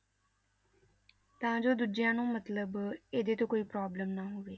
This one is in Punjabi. ਤਾਂ ਜੋ ਦੂਜਿਆਂ ਨੂੰ ਮਤਲਬ ਇਹਦੇ ਤੋਂ ਕੋਈ problem ਨਾ ਹੋਵੇ।